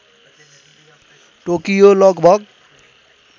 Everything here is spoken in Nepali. टोकियो लगभग